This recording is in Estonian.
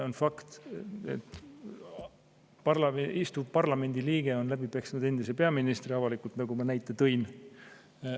On fakt, et parlamendi liige on peaministri avalikult läbi peksnud, nagu ma näite tõin.